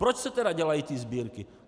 Proč se tedy dělají ty sbírky?